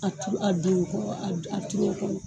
A turu a don o kɔ a turu o kɔnɔ